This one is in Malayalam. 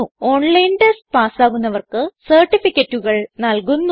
ഓൺലൈൻ ടെസ്റ്റ് പാസ്സാകുന്നവർക്ക് സർട്ടിഫികറ്റുകൾ നല്കുന്നു